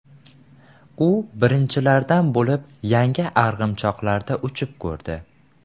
U birinchilardan bo‘lib yangi arg‘imchoqlarda uchib ko‘rdi.